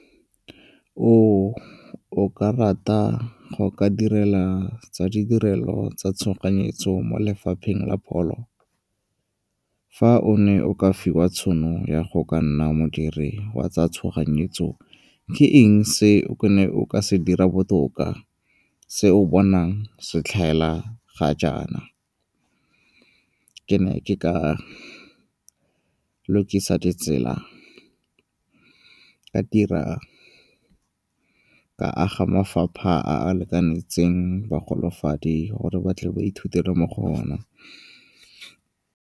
O ka rata go ka direla tsa ditirelo tsa tshoganyetso mo lefapheng la pholo? Fa o ne o ka fiwa tšhono ya go ka nna modiri wa tsa tshoganyetso ke eng se ne o ka se dira botoka se o bonang se tlhaela ga jaana? Ke ne ke ka lokisa ditsela, ka dira, ka aga mafapha a a itekanetseng bogolofadi gore ba tle ba ithutele mo go ona.